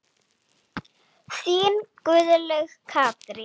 Þín Guðlaug Katrín.